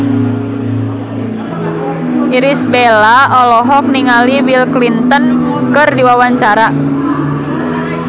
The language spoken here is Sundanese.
Irish Bella olohok ningali Bill Clinton keur diwawancara